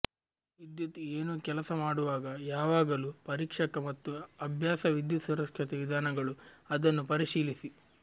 ವಿದ್ಯುತ್ ಏನು ಕೆಲಸ ಮಾಡುವಾಗ ಯಾವಾಗಲೂ ಪರೀಕ್ಷಕ ಮತ್ತು ಅಭ್ಯಾಸ ವಿದ್ಯುತ್ ಸುರಕ್ಷತೆ ವಿಧಾನಗಳು ಅದನ್ನು ಪರಿಶೀಲಿಸಿ